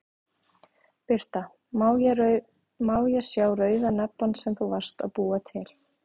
Birta: Má ég sá rauða nebbann sem þú varst að búa til?